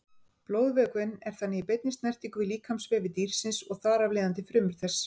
Blóðvökvinn er þannig í beinni snertingu við líkamsvefi dýrsins og þar af leiðandi frumur þess.